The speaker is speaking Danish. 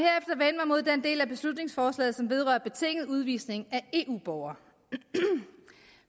mod den del af beslutningsforslaget som vedrører betinget udvisning af eu borgere